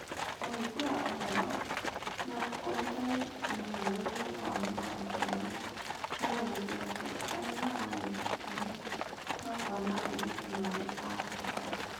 Kũhingũra Ũhoro na Ũrutani mũhianĩre wa maũndũ marĩa monekete, arĩa maranyita itemi makona airĩtu marĩ a bata